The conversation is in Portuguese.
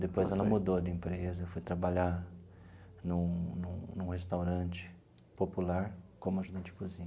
Depois ela mudou de empresa, foi trabalhar num num num restaurante popular como ajudante de cozinha.